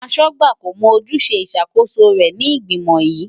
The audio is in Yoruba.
Akọ̀wé kò mọ ojúṣe ìṣàkóso rẹ̀ sí ìgbìmò yìí.